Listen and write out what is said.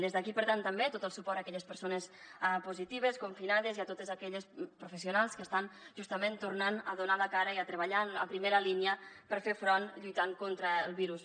des d’aquí per tant també tot el suport a aquelles persones positives confinades i a totes aquelles professionals que estan justament tornant a donar la cara i treballant a primera línia per fer hi front lluitant contra el virus